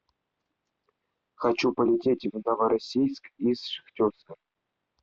хочу полететь в новороссийск из шахтерска